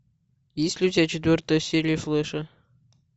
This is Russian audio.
есть ли у тебя четвертая серия флэша